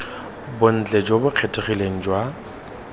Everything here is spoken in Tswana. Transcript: bontle jo bo kgethegileng jwa